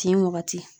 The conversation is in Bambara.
Tin wagati